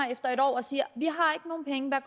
og siger vi